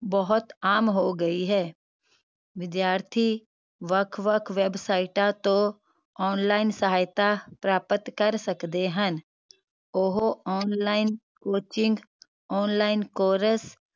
ਬਹੁਤ ਆਮ ਹੋ ਗਈ ਹੈ ਵਿਦਿਆਰਥੀ ਵੱਖ ਵੱਖ ਵੈਬਸਾਈਟ ਤੋਂ online ਸਹਾਇਤਾ ਪ੍ਰਾਪਤ ਕਰ ਸਕਦੇ ਹਨ। ਉਹ online coaching online course